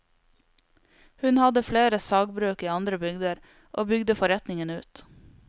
Hun hadde flere sagbruk i andre bygder, og bygde forretningen ut.